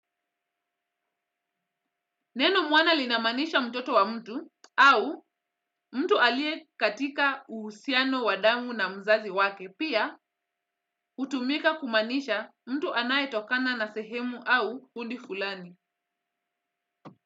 Neno mwana lina maanisha mtoto wa mtu au mtu alie katika uhusiano wa damu na mzazi wake pia hutumika ku maanisha mtu anaye tokana na sehemu au kundi fulani.